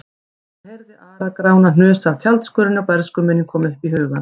Hann heyrði Ara-Grána hnusa af tjaldskörinni og bernskuminning kom upp í hugann.